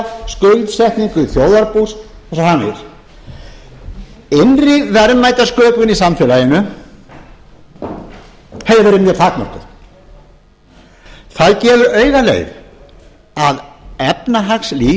skuldsetningu þjóðarbús og svo framvegis innri verðmætasköpun í samfélaginu hefði verið mjög takmörkuð það gefur auga leið að